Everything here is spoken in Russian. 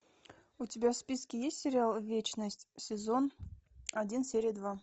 у тебя в списке есть сериал вечность сезон один серия два